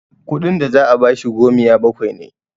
kudin da za a bashi gomiya bakwai ne